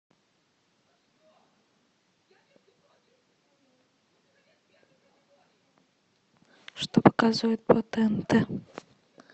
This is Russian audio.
что показывают по тнт